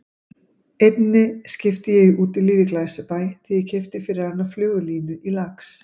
Einni skipti ég í Útilífi í Glæsibæ þegar ég keypti fyrir hana flugulínu til lax